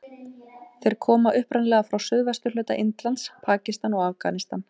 Þeir koma upprunalega frá suðvesturhluta Indlands, Pakistan og Afganistan.